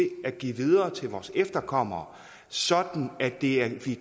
at give videre til vores efterkommere sådan at de giver det